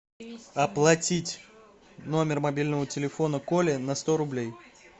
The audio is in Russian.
оплатить номер мобильного телефона коли на сто рублей